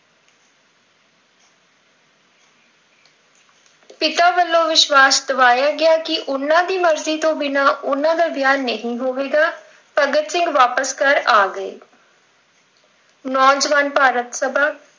ਪਿਤਾ ਵੱਲੋਂ ਵਿਸ਼ਵਾਸ ਦਿਵਾਇਆ ਗਿਆ ਕਿ ਉਹਨਾਂ ਦੀ ਮਰਜ਼ੀ ਤੋਂ ਬਿਨਾਂ ਉਹਨਾਂ ਦਾ ਵਿਆਹ ਨਹੀਂ ਹੋਵੇਗਾ। ਭਗਤ ਸਿੰਘ ਵਾਪਿਸ ਘਰ ਆ ਗਏ ਨੌਜਵਾਨ ਭਾਰਤ ਸਭਾ,